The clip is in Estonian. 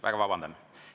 Väga vabandan.